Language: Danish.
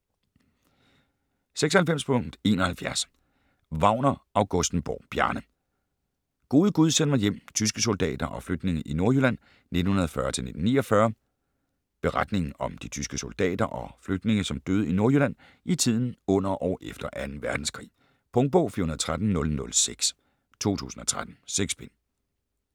96.71 Wagner-Augustenborg, Bjarne: Gode gud, send mig hjem: tyske soldater og flygtninge i Nordjylland 1940-1949 Beretningen om de tyske soldater og flygtninge som døde i Nordjylland i tiden under og efter 2. verdenskrig. Punktbog 413006 2013. 6 bind.